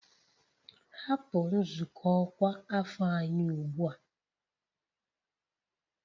Hapụ nzukọ ọkwa afọ anyị ugbu a!